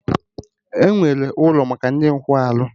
Enwere ụlọ maka ndị nkwarụ